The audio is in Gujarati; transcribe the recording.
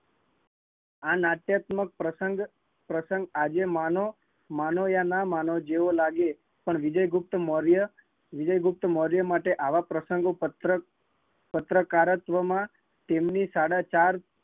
આ નાટ્યતમક પ્રસંગ પ્રસંગ આજે માનો કે ના માનો જેવો લાગે, પણ વીજુગુપ્તમૌર્ય, વીજુગુપ્તમૌર્ય માટે આવા પ્રસંગ પત્રકારકત્વ માં એમની સાડા ચાર